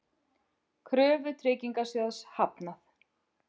Kröfu Tryggingasjóðs hafnað